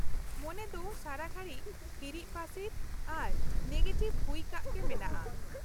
-ᱢᱚᱱᱮ ᱫᱚ ᱥᱟᱨᱟ ᱜᱷᱟᱹᱲᱤᱪ ᱦᱤᱨᱤᱡ ᱯᱟᱥᱤᱨ ᱟᱨ ᱱᱮᱜᱮᱴᱤᱵᱷ ᱦᱩᱭᱟᱠᱟᱜᱮ ᱢᱮᱱᱟᱜᱼᱟ ᱾